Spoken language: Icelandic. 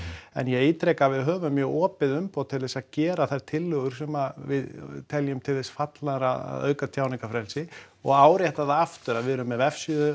en ég ítreka að við höfum mjög opið umboð til þess að gera þær tillögur sem við teljum til þess fallnar að auka tjáningarfrelsi og árétta það aftur að við erum með vefsíðu